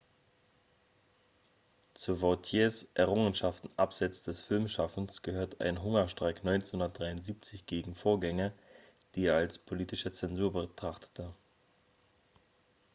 zu vautiers errungenschaften abseits des filmschaffens gehört ein hungerstreik 1973 gegen vorgänge die er als politische zensur betrachtete